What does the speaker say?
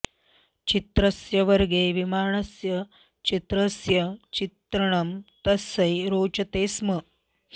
चित्रस्य वर्गे विमानस्य चित्रस्य चित्रणं तस्यै रोचते स्म